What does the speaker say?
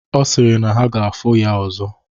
Ọ sịrị na ha ga-afụ ya ọzọ.